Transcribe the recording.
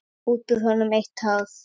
Út úr honum eitt hár.